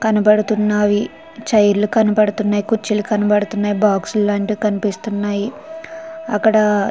కనబడుతున్నాయి. చైర్ లు కనబడుతున్నాయి. కుర్చీలు కనపడుతున్నాయి. బాక్స్ లాంటి కనిపిస్తున్నాయి. కనబడుతున్నాయి. అక్కడ--